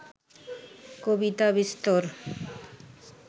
কবিতা বিস্তর